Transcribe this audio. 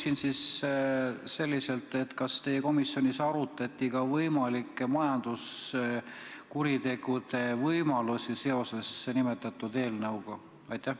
Ma küsin selliselt: kas teie komisjonis arutati ka majanduskuritegude võimalust seoses nimetatud eelnõuga?